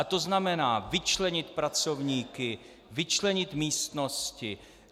A to znamená vyčlenit pracovníky, vyčlenit místnosti.